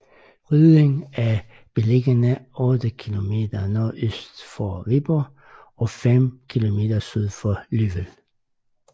Rødding er beliggende 8 kilometer nordøst for Viborg og fem kilometer syd for Løvel